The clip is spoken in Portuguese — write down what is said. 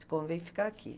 Te convém ficar aqui.